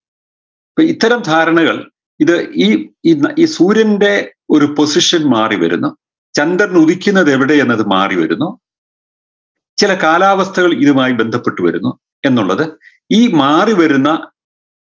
പ്പോ ഇത്തരം ധാരണകൾ ഇത് ഈ ഈ സൂര്യൻറെ ഒരു position മാറിവരുന്നു ചന്ദ്രൻ ഉദിക്കുന്നതെവിടെ എന്നത് മാറിവരുന്നു ചെല കാലാവസ്ഥകൾ ഇതുമായി ബന്ധപ്പെട്ട് വരുന്നു എന്നുള്ളത് ഈ മാറിവരുന്ന